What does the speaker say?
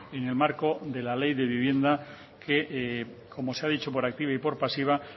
en el marco de la ley de vivienda que como se ha dicho por activa y por pasiva